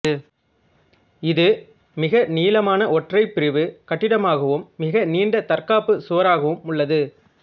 இது மிக நீளமான ஒற்றைபிரிவு கட்டிடமாகவும் மிக நீண்ட தற்காப்பு சுவராகவும் உள்ளது